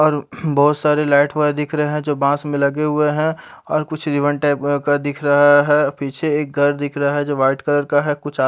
और बहुत सारे लाईट वाईट दिख रहे है जो बांस में लगे हुए है और कुछ रिब्बन टाईप का दिख रहा है पीछे एक घर दिख रहा है जो व्हाईट कलर का है कुछ --